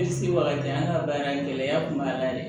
an ka baara in gɛlɛya kun b'a la dɛ